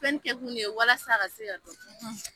Fɛn ni tɛkun ye walasasa a se ka